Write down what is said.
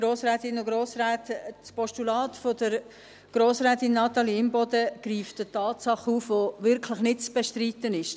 Das Postulat von Grossrätin Natalie Imboden greift eine Tatsache auf, die wirklich nicht zu bestreiten ist.